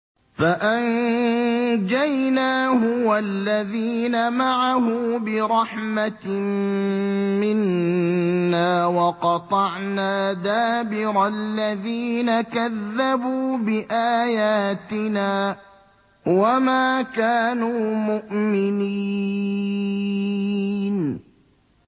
فَأَنجَيْنَاهُ وَالَّذِينَ مَعَهُ بِرَحْمَةٍ مِّنَّا وَقَطَعْنَا دَابِرَ الَّذِينَ كَذَّبُوا بِآيَاتِنَا ۖ وَمَا كَانُوا مُؤْمِنِينَ